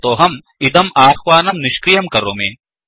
अतोऽहं इदं अह्वानं निष्क्रियं करोमि